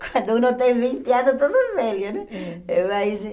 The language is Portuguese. Quando um tem vinte anos, todo velho, né? É. Mas